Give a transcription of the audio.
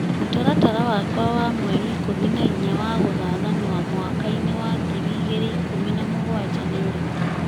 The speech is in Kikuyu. mũtaratara wakwa wa mweri ikũmi na inya wa gathathanwa mwaka-ini wa ngiri igĩrĩ ikũmi na mũgwanja nĩ ũrĩkũ